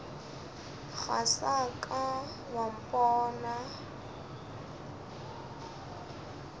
ga sa ka wa mpona